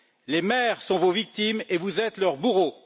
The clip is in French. Les maires sont vos victimes et vous êtes leur bourreau.